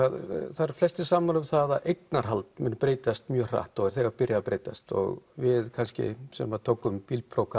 það eru flestir sammála um að eignarhald muni breytast mjög hratt og að er þegar byrjað að breytast og við kannski sem tókum bílpróf